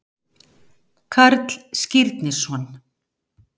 Karl Skírnisson.